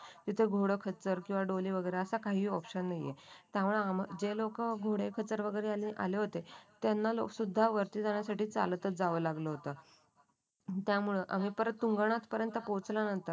तिथं घोडं खचर डोली वगैरे असं काही ऑप्शन नाहीये त्यामुळे जे लोक घोडे खचर गैरे आले होते. त्यांना सुद्धा वरती जाण्यासाठी चालत च जावं लागलं होतं आम्ही परत तुंगनाथ पर्यंत पोहोचल्यानंतर